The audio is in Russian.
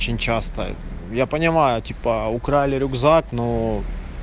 очень часто я понимаю типа украли рюкзак но